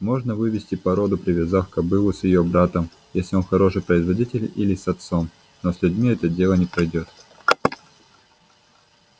можно вывести породу повязав кобылу с её братом если он хороший производитель или с отцом но с людьми это дело не пройдёт